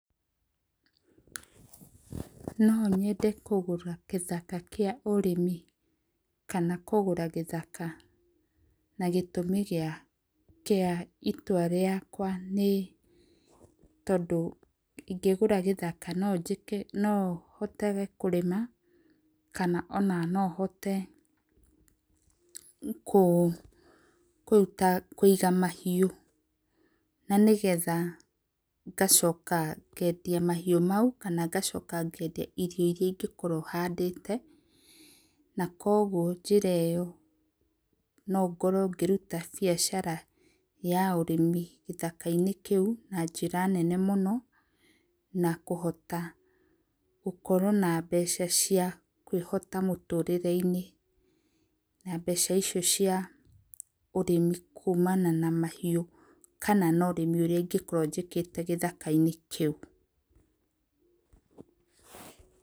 Nonyende kũgũra gĩthaka kĩa ũrĩmi ,kana kũgũra gĩthaka, na gĩtũmi gĩa itua rĩakwa nĩ tondũ, ĩngĩgũra gĩthaka nonjĩke nohotagĩ kũrĩma, kana nohote kũruta kũiga mahiũ. Na nĩgetha ngacoka ngendia mahiũ mau kana ngacoka ngendia irio irĩa ingĩkorwo handĩte na koguo njĩra ĩo nongorwo ngĩruta biacara ya ũrĩmi gĩthaka -inĩ kĩu na njĩra nene mũno na kũhota gũkorwo na mbeca cia kwĩhota mũtũrĩre -inĩ. Na mbeca icio cia ũrĩmi kumana na mahiũ kana na ũrĩmi ũrĩa ingĩkorwo njĩkĩte gĩthaka -inĩ kĩu.